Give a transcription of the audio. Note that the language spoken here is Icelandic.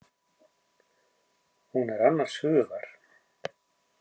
Hún er annars hugar.